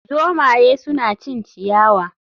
Zomaye suna cin ciyawa